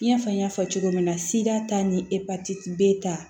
I n'a fɔ n y'a fɔ cogo min na siga ta ni epatiti b b' ta